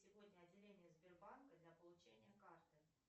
сегодня отделение сбербанка для получения карты